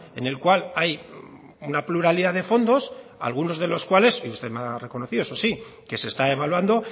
en el cual hay una pluralidad de fondos algunos de los cuales y usted me ha reconocido eso sí que se está evaluando